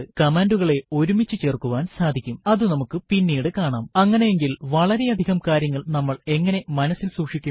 കമാൻഡുകളെ ഒരുമിച്ചു ചേർക്കുവാൻ സാധിക്കുംഅതു നമുക്ക് പിന്നീട് കാണാംഅങ്ങനെയെങ്കിൽ വളരെയധികം കാര്യങ്ങൾ നമ്മൾ എങ്ങനെ മനസ്സിൽ സൂക്ഷിക്കും